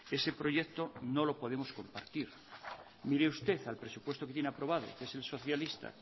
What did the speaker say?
ese proyecto no lo podemos compartir mire usted al presupuesto que tiene aprobado que es el socialista